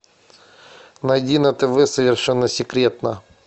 найди на тв совершенно секретно